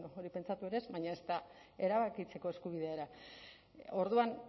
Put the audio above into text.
hori pentsatu ere ez baina ezta erabakitzeko eskubidea ere orduan